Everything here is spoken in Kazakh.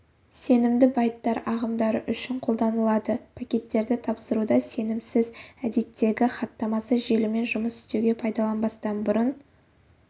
сенімді байттар ағымдары үшін қолданылады пакеттерді тапсыруда сенімсіз әдеттегі хаттамасы желімен жұмыс істеуге пайдаланбастан бұрын